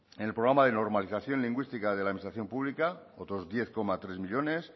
en el programa de normalización lingüística de la administración pública otros diez coma tres millónes